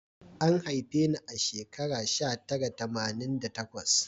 An haife ni a shekara sha tara tamanin da takwas